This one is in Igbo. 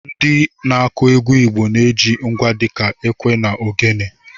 Ndị na-akụ egwu Igbo na-eji ngwa dịka ekwe na ogene.